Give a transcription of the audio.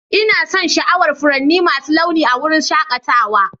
Ina son sha'awar furanni masu launi a wurin shakatawa.